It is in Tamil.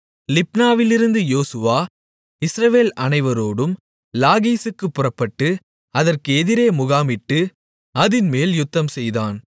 லிப்னாவிலிருந்து யோசுவா இஸ்ரவேல் அனைவரோடும் லாகீசுக்குப் புறப்பட்டு அதற்கு எதிரே முகாமிட்டு அதின்மேல் யுத்தம்செய்தான்